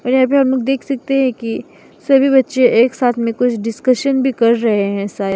यहां पे हम लोग देख सकते है की सभी बच्चे एक साथ में कुछ डिस्कशन भी कर रहें हैं शायद।